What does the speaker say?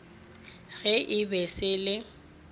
ge e ba se le